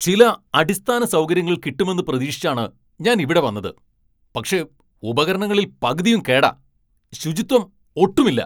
ചില അടിസ്ഥാന സൗകര്യങ്ങൾ കിട്ടുമെന്ന് പ്രതീക്ഷിച്ചാണ് ഞാൻ ഇവിടെ വന്നത്, പക്ഷേ ഉപകരണങ്ങളിൽ പകുതിയും കേടാ, ശുചിത്വം ഒട്ടുമില്ല.